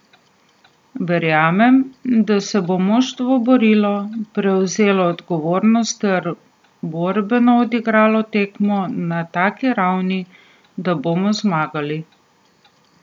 Verjamem, da se bo moštvo borilo, prevzelo odgovornost ter borbeno odigralo tekmo na taki ravni, da bomo zmagali.